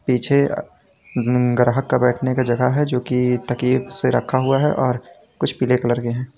पीछे ग्राहक का बैठने का जगह है जो की तकिए से रखा हुआ है और कुछ पीले कलर के हैं।